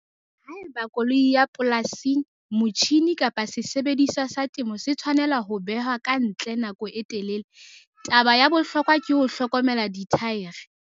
Haeba koloi ya polasing, motjhine kapa sesebediswa sa temo se tshwanela ho behwa ka ntle nako e telele, taba ya bohlokwa ke ho hlokomela dithaere.